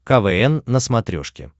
квн на смотрешке